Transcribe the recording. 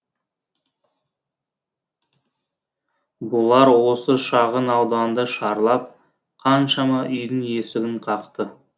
бұлар осы шағын ауданды шарлап қаншама үйдің есігін қақты